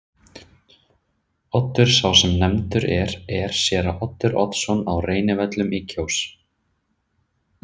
Oddur sá sem nefndur er er séra Oddur Oddsson á Reynivöllum í Kjós.